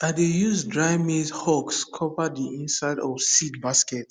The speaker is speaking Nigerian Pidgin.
i dey use dry maize husk cover the inside of seed basket